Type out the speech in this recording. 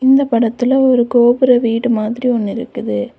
இந்த படத்துல ஒரு கோபுர வீடு மாதிரி ஒன்னு இருக்குது.